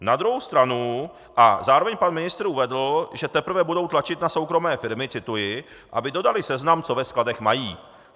Na druhou stranu - a zároveň pan ministr uvedl, že teprve budou tlačit na soukromé firmy - cituji: aby dodaly seznam, co ve skladech mají.